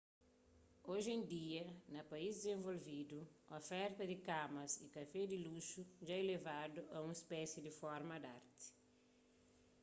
oji en dia na país dizenvolvidu oferta di kamas y kafé di luxu dja ilevadu a un spési di forma di arti